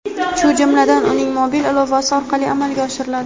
shu jumladan uning mobil ilovasi orqali amalga oshiriladi.